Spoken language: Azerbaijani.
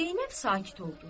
Zeynəb sakit oldu.